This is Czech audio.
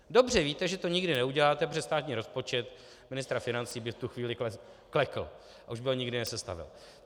Dobře víte, že to nikdy neuděláte, protože státní rozpočet ministra financí by v tu chvíli klekl a už by ho nikdy nesestavil.